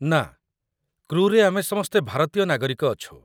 ନା, କ୍ରୁରେ ଆମେ ସମସ୍ତେ ଭାରତୀୟ ନାଗରିକ ଅଛୁ।